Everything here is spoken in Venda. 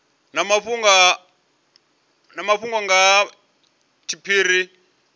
na mafhungo nga ha tshiphiri